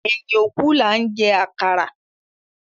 Ẹyin òkú laa ń jẹ àkàrà